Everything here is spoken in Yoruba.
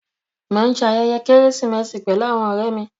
Mọ̀ n ṣẹ ayẹyẹ Keresimesi pẹ̀lú awọn ọ̀rẹ̀ mi